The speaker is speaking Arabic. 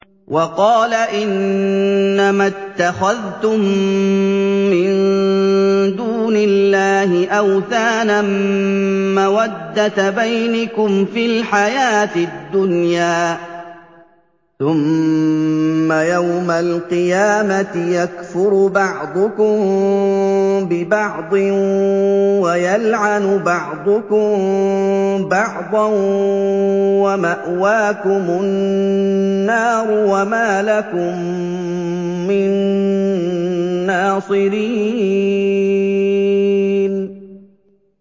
وَقَالَ إِنَّمَا اتَّخَذْتُم مِّن دُونِ اللَّهِ أَوْثَانًا مَّوَدَّةَ بَيْنِكُمْ فِي الْحَيَاةِ الدُّنْيَا ۖ ثُمَّ يَوْمَ الْقِيَامَةِ يَكْفُرُ بَعْضُكُم بِبَعْضٍ وَيَلْعَنُ بَعْضُكُم بَعْضًا وَمَأْوَاكُمُ النَّارُ وَمَا لَكُم مِّن نَّاصِرِينَ